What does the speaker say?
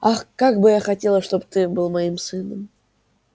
ах как бы я хотела чтобы ты был моим сыном